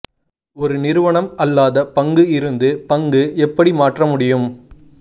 ஒரு நிறுவனம் அல்லாத பங்கு இருந்து பங்கு எப்படி மாற்ற முடியும்